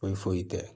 Foyi foyi tɛ